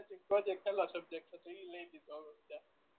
project hello subject છે તો ઈ લઈ લીધો હવ અત્યાર